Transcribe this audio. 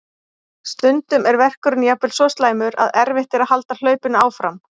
Stundum er verkurinn jafnvel svo slæmur að erfitt er að halda hlaupinu áfram.